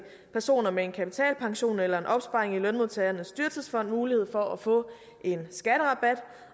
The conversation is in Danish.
personer med en kapitalpension eller en opsparing i lønmodtagernes dyrtidsfond mulighed for at få en skatterabat